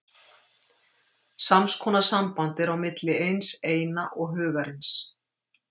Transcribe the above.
Sams konar samband er á milli hins Eina og Hugarins.